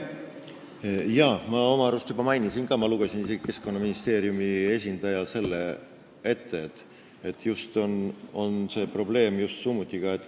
Jaa, ma oma arust mainisin seda ka, ma lugesin isegi Keskkonnaministeeriumi esindaja arvamuse ette.